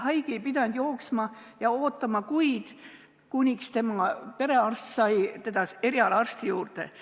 Haige ei pidanud jooksma ja ootama kuid, kuni tema perearst sai ta erialaarsti juurde.